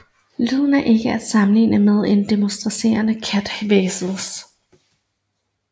Lyden er ikke at sammenligne med en domesticeret kats hvæsen